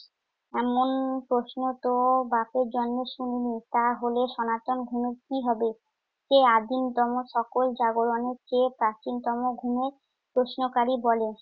এমন প্রশ্নতো বাপের জন্মে শুনিনি। তাহলে সনাতন ধর্মের কি হবে? কে আদিমতম সকল জাগরণের চেয়ে প্রাচীনতম ঘুমের প্রশ্নকারী বলে।